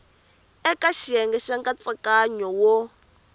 eka xiyenge xa nkatsakanyo wo